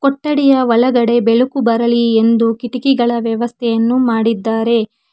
ಕೊಠಡಿಯ ಒಳಗಡೆ ಬೆಳಕು ಬರಲಿ ಎಂದು ಕಿಟಕಿಗಳ ವ್ಯವಸ್ಥೆಯನ್ನು ಮಾಡಿದ್ದಾರೆ.